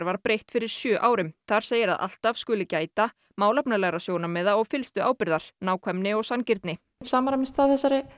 var breytt fyrir sjö árum þar segir að alltaf skuli gæta málefnalegra sjónarmiða og fyllstu ábyrgðar nákvæmni og sanngirni samræmist það